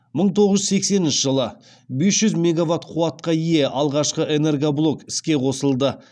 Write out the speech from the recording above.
мың тоғыз жүз сексенінші жылы бес жүз мегаватт қуатқа ие алғашқы энергоблок іске қосылды